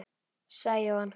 sagði Jóhann.